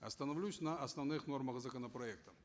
остановлюсь на основных нормах законопроекта